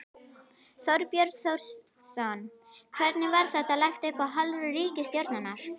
Þorbjörn Þórðarson: Hvernig var þetta lagt upp af hálfu ríkisstjórnarinnar?